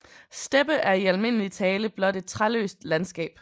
Steppe er i almindelig tale blot et træløst landskab